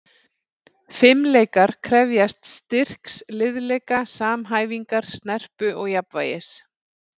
Fimleikar krefjast styrks, liðleika, samhæfingar, snerpu og jafnvægis.